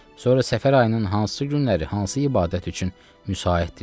Sonra Səfər ayının hansı günləri hansı ibadət üçün müsaid idilər?